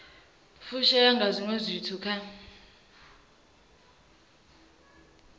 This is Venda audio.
fushea nga zwiwe zwithu kha